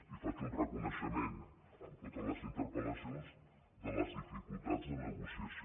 i faig un reconeixement en totes les interpel·lacions de les dificultats de negociació